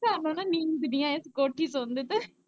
ਸਾਨੂੰ ਨਾ ਨੀਂਦ ਨੀ ਆਈ, ਕੋਠੇ ਸੋਂਦੇ ਤੇ।